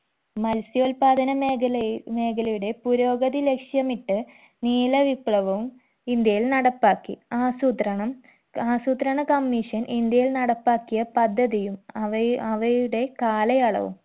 മത്സ്യോത്പാദന മേഖലയി മേഖലയുടെ പുരോഗതി ലക്ഷ്യമിട്ട് നീല വിപ്ലവവും ഇന്ത്യയിൽ നടപ്പാക്കി ആസൂത്രണം ആസൂത്രണ commission ഇന്ത്യയിൽ നടപ്പാക്കിയ പദ്ധതിയും അവയു അവയുടെ കാലയളവും